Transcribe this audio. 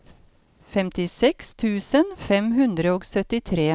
femtiseks tusen fem hundre og syttitre